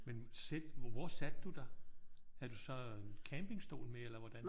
Men sætte hvor satte du dig? Havde du så campingstol med eller hvordan?